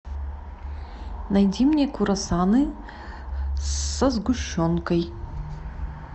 найди мне круассаны со сгущенкой